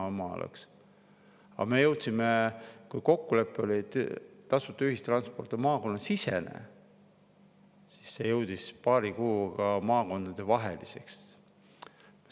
Aga me jõudsime sinnani, et kui kokkulepe oli, et tasuta ühistransport on maakonnasisene, siis see jõudis paari kuuga maakondadevaheliseks.